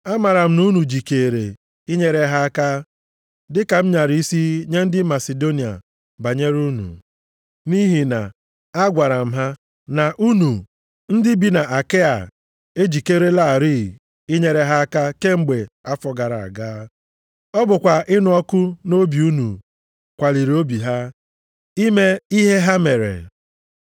Amaara m na unu jikeere inyere ha aka, dịka m nyara isi nye ndị Masidonia banyere unu. Nʼihi na agwara m ha na unu ndị bi na Akaịa ejikerelarị inyere ha aka kemgbe afọ gara aga. Ọ bụkwa ịnụ ọkụ nʼobi unu kwaliri obi ha, ime ihe ha mere.